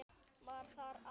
Var þar á að